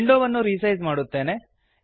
ವಿಂಡೋವನ್ನು ರಿಸೈಸ್ ಮಾಡುತ್ತೇನೆ